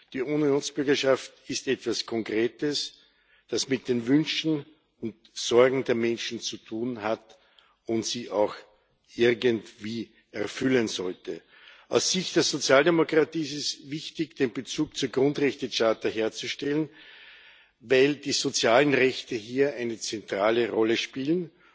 Die Unionsbürgerschaft ist etwas Konkretes, das mit den Wünschen und Sorgen der Menschen zu tun hat und sie auch irgendwie erfüllen sollte. Aus Sicht der Sozialdemokratie ist es wichtig, den Bezug zur Grundrechtecharta herzustellen, weil die sozialen Rechte hier eine zentrale Rolle spielen.